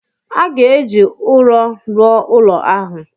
A ga-eji ụrọ rụọ ụlọ ahụ